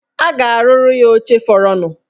A ga-arụrụ ya oche fọrọnụ.